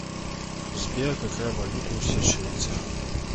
сбер какая валюта у сейшельцев